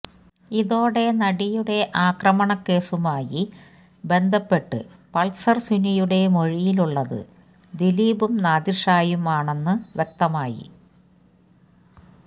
ഇതോടെ നടിയുടെ ആക്രമണക്കേസുമായി ബന്ധപ്പെട്ട് പൾസർ സുനിയുടെ മൊഴിയിലുള്ളത് ദിലീപും നാദിർഷായും ആണെന്നും വ്യക്തമായി